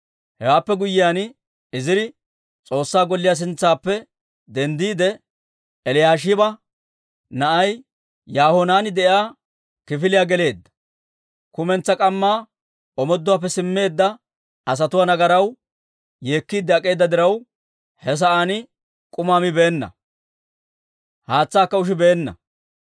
Hewaappe guyyiyaan, Iziri S'oossaa Golliyaa sintsaappe denddiide, Eliyaashiba na'ay Yahohanaani de'iyaa kifiliyaa geleedda. Kumentsaa k'ammaa omooduwaappe simmeedda asatuwaa nagaraw yeekkiide ak'eeda diraw, he sa'aan k'umaa mibeenna; haatsaakka ushibeenna.